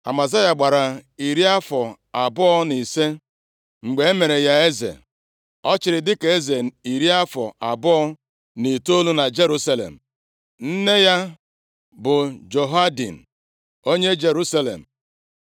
Amazaya gbara iri afọ abụọ na ise mgbe e mere ya eze, ọ chịrị dịka eze iri afọ abụọ na itoolu na Jerusalem. Nne ya bụ Jehoadin onye Jerusalem.